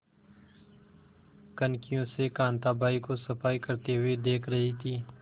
कनखियों से कांताबाई को सफाई करते हुए देख रही थी